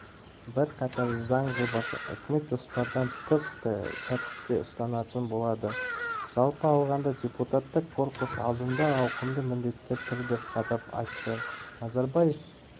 бірқатар заң жобасын үкімет жоспардан тыс тәріпте ұсынатын болады жалпы алғанда депутаттық корпус алдында ауқымды міндеттер тұр деп қадап айтты назарбаев